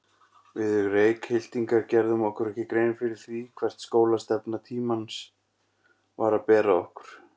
Við Reykhyltingar gerðum okkur ekki grein fyrir því, hvert skólastefna tímans var að bera okkur.